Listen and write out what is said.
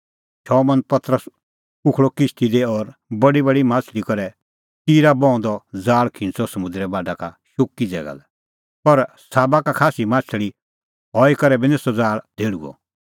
शमौन पतरस उखल़अ किश्ती दी और बडीबडी माह्छ़ली करै टिरा बहूंदअ ज़ाल़ खिंच़अ समुंदरे बाढा शुक्की ज़ैगा लै पर साबा का खास्सी माह्छ़ली हई करै बी निं सह ज़ाल़ धेहल़ुअ